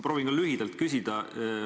Proovin ka lühidalt küsida.